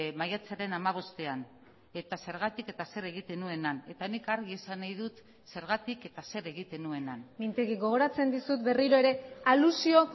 maiatzaren hamabostean eta zergatik eta zer egiten nuen han eta nik argi esan nahi dut zergatik eta zer egiten nuen han mintegi gogoratzen dizut berriro ere alusio